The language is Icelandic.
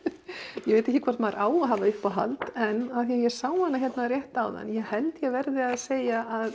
ég veit ekki hvort maður á að hafa uppáhald en af því ég sá hana hérna rétt áðan ég held ég verði eiginlega að segja að